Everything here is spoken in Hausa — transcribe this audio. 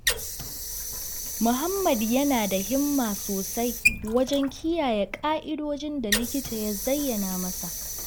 Muhammad yana da himma sosai wajen kiyaye ƙa'idojin da likita ya zayyana masa.